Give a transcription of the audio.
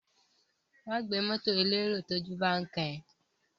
Má gbé mọ́tọ̀ elérò tójú bán kán ẹ.